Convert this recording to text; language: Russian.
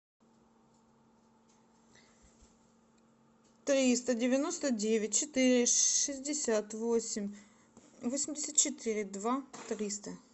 триста девяносто девять четыре шестьдесят восемь восемьдесят четыре два триста